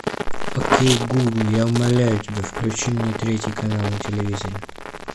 окей гугл я умоляю тебя включи мне третий канал на телевизоре